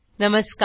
नमस्कार